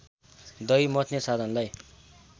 दही मथ्ने साधनलाई